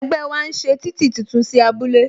Ẹgbẹ́ wa ń ṣe títì tuntun sí abúlé